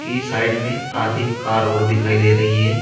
की साइड में आधी कार और दिखाई दे रही है।